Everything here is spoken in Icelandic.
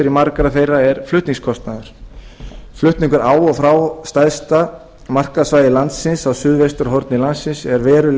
margra þeirra er flutningskostnaður flutningur á og frá stærsta markaðssvæði landsins á suðvesturhorni landsins er verulega